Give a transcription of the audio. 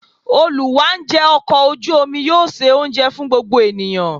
Olù wá ńjẹ ọkọ̀ ojú omi yóò ṣe oúnjẹ fún gbogbo ènìyàn.